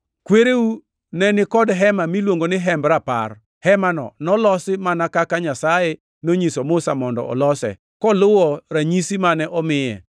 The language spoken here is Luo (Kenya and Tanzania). “Kwereu ne ni kod Hema miluongo ni Hemb Rapar. Hemano nolosi mana kaka Nyasaye nonyiso Musa mondo olose, koluwo ranyisi mane omiye.